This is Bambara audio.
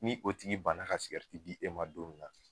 Ni o tigi banna ka di e ma don min na